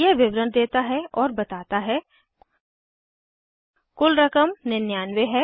यह विवरण देता है और बताता है कुल रकम 99 है